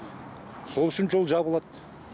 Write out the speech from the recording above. сол үшін жол жабылады